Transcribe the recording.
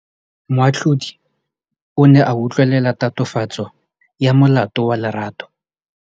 Moatlhodi o ne a utlwelela tatofatsô ya molato wa Lerato.